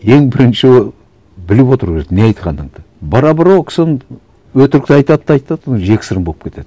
ең бірінші біліп отыру керек не айтқаныңды бара бара ол кісі өтірікті айтады да айтады жексұрын болып кетеді